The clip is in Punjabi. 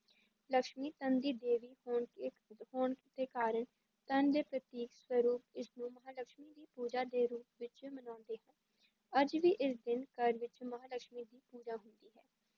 ਲਕਸ਼ਮੀ ਧਨ ਦੀ ਦੇਵੀ ਹੋਣ ਕੇ ਹੋਣ ਦੇ ਕਾਰਨ ਧਨ ਦੇ ਪ੍ਰਤੀਕ ਸਰੂਪ ਇਸਨੂੰ ਮਹਾਂਲਕਸ਼ਮੀ ਦੀ ਪੂਜਾ ਦੇ ਰੂਪ ਵਿੱਚ ਮਨਾਉਂਦੇ ਹਨ, ਅੱਜ ਵੀ ਇਸ ਦਿਨ ਘਰ ਵਿੱਚ ਮਹਾਂਲਕਸ਼ਮੀ ਦੀ ਪੂਜਾ ਹੁੰਦੀ ਹੈ